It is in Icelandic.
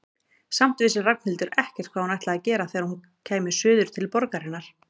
Samt vissi Ragnhildur ekkert hvað hún ætlaði að gera þegar hún kæmi suður til borgarinnar.